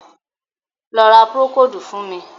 Lọ ra Púrókódù fún mi!